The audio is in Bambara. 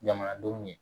Jamanadenw ye